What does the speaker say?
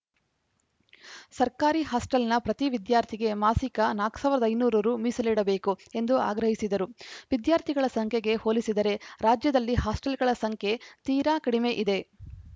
ಸರ್ಕಾರಿ ಹಾಸ್ಟೆಲ್‌ನ ಪ್ರತಿ ವಿದ್ಯಾರ್ಥಿಗೆ ಮಾಸಿಕ ನಾಲ್ಕ್ ಸಾವಿರದ ಐದುನೂರು ರು ಮೀಸಲಿಡಬೇಕು ಎಂದು ಆಗ್ರಹಿಸಿದರು ವಿದ್ಯಾರ್ಥಿಗಳ ಸಂಖ್ಯೆಗೆ ಹೋಲಿಸಿದರೆ ರಾಜ್ಯದಲ್ಲಿ ಹಾಸ್ಟೆಲ್‌ಗಳ ಸಂಖ್ಯೆ ತೀರಾ ಕಡಿಮೆ ಇದೆ